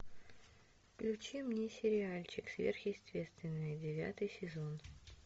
включи мне сериальчик сверхъестественное девятый сезон